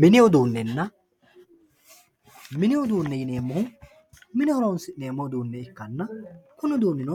Minni uduunenna, mini uduune yineemohu mine horonsineemo uduune ikkana kuni uduuninno